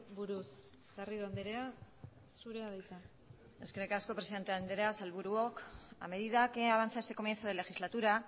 buruz garrido andrea zurea da hitza eskerrik asko presidente andrea sailburuok a medida que avanza este comienzo de legislatura